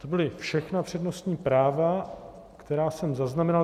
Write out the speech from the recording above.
To byla všechna přednostní práva, která jsem zaznamenal.